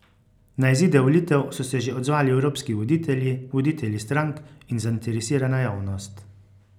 Na izide volitev so se že odzvali evropski voditelji, voditelji strank in zainteresirana javnost.